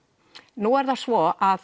nú er það svo að